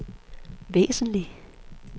væsentligt